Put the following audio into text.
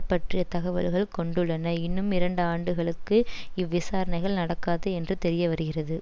பற்றிய தகவல்கள் கொண்டுள்ளன இன்னும் இரண்டு ஆண்டுகளுக்கு இவ்விசாரணைகள் நடக்காது என்று தெரியவருகிறது